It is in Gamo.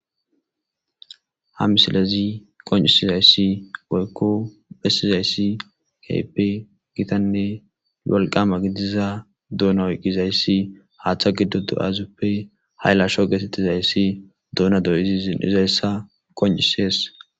ha misilezi qoncisizayssi woykko bessizayssi keyppe gitanne alqama gidiza duunawoy qizayssi haaththa giddo do7azuppe hay lasho geesettizayssi duuna doyizizin izayssa qoncisees